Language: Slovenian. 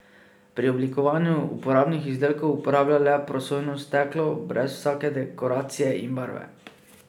Pri oblikovanju uporabnih izdelkov uporablja le prosojno steklo, brez vsake dekoracije in barve.